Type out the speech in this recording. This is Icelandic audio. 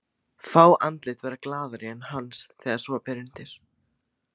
Fá andlit verða glaðari en hans þegar svo ber undir.